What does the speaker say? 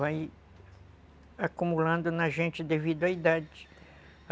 Vai acumulando na gente devido à idade.